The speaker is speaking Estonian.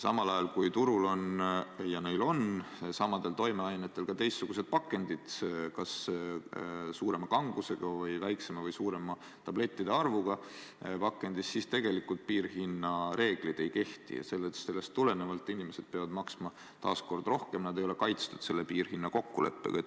Samal ajal, kui turul on samadel toimeainetel ka teistsugused pakendid, kas suurema või väiksema kangusega ravimiga või suurema tablettide arvuga pakendis, siis tegelikult piirhinnareeglid ei kehti ja sellest tulenevalt inimesed peavad maksma taas kord rohkem, nad ei ole kaitstud selle piirhinna kokkuleppega.